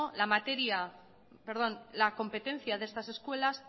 la competencia de estas escuelas